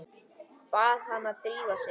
Bað hana að drífa sig.